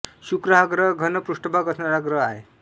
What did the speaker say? शुक्र हा ग्रह घन पृष्ठभाग असणारा ग्रह आहे